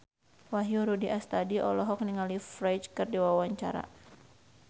Wahyu Rudi Astadi olohok ningali Ferdge keur diwawancara